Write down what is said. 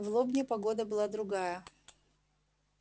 в лобне погода была другая